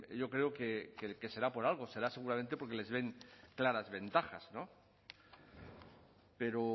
yo creo que será por algo será seguramente porque les ven claras ventajas pero